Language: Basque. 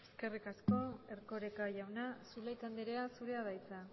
eskerrik asko erkoreka jauna zulaika andrea zurea da hitza